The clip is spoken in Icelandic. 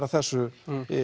að þessu